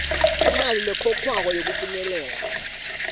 imali lekhokhwako yekufinyelela